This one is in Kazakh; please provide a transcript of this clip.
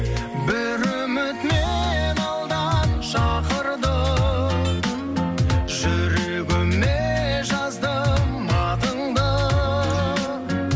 бір үміт мені алдан шақырды жүрегіме жаздым атыңды